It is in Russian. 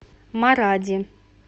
маради